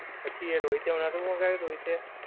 પછી એ રોહિતે નોતું મંગાવ્યું રોહિતે.